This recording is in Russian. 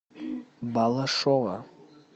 балашова